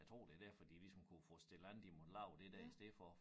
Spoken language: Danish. Jeg tror det derfor de ligesom kunne få stillet an de måtte lave det der i stedet for